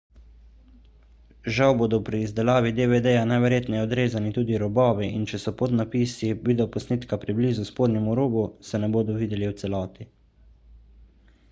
žal bodo pri izdelavi dvd-ja najverjetneje odrezani tudi robovi in če so podnapisi videoposnetka preblizu spodnjemu robu se ne bodo videli v celoti